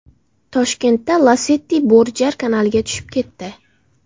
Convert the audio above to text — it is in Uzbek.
Toshkentda Lacetti Bo‘rijar kanaliga tushib ketdi.